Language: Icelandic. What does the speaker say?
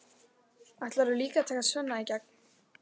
Ætlarðu líka að taka Svenna í gegn?